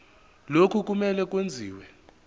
lokhu kumele kwenziwe